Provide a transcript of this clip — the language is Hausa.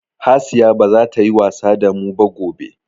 Hasiya baza ta yi wasa damu ba gobe.